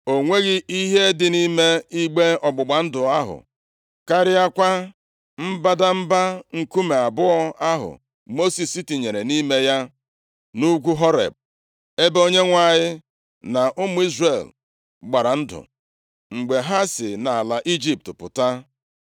O nweghị ihe dị nʼime igbe ọgbụgba ndụ ahụ, karịakwa mbadamba nkume abụọ ahụ Mosis tinyere nʼime ya nʼugwu Horeb, nʼebe Onyenwe anyị na ụmụ Izrel gbara ndụ, mgbe ha si nʼala Ijipt pụta.